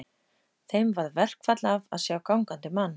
Þeim varð verkfall af að sjá gangandi mann.